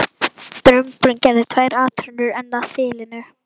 Drumburinn gerði tvær atrennur enn að þilinu.